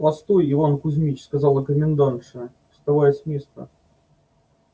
постой иван кузьмич сказала комендантша вставая с места